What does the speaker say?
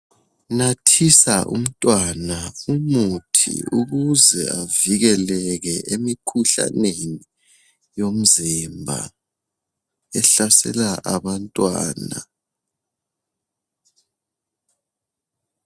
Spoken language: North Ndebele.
Nathisa umntwana umuthi ukuze avikeleke emikhuhlaneni yomzimba ehlasela abantwana.